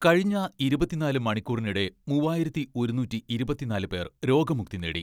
കഴിഞ്ഞ ഇരുപത്തിനാല് മണിക്കൂറിനിടെ മുവ്വായിരത്തി ഒരുനൂറ്റി ഇരുപത്തിനാല് പേർ രോഗമുക്തി നേടി.